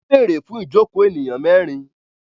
Wọ́n bèèrè fún ìjokòó ènìyàn mẹ́rin.